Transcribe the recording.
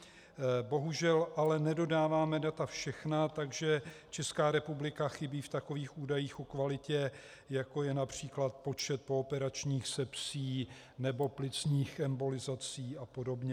Bohužel ale nedodáváme data všechna, takže Česká republika chybí v takových údajích o kvalitě, jako je například počet pooperačních sepsí nebo plicních embolizací a podobně.